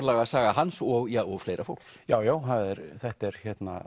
örlagasaga hans og fleira fólks já já þetta er